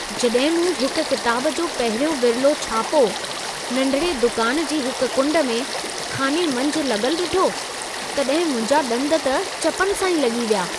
जॾहिं मूं हिक किताब जो पहिरियों विर्लो छापो, नंढिड़े दुकान जी हिक कुंड में ख़ाने मंझि लॻलु ॾिठो, तॾहिं मुंहिंजा डं॒द त चपनि सां ई लॻी विया।